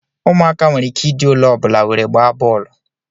Ụmụaka nwere ike ịdị olee ọbụla were gbaa bọọlụ